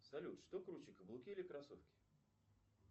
салют что круче каблуки или кроссовки